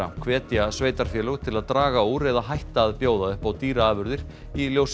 hvetja sveitarfélög til að draga úr eða hætta að bjóða upp á dýraafurðir í ljósi